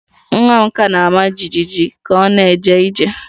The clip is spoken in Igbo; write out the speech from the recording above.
Nwa m ka na-ama jijiji ka ọ na-eje ije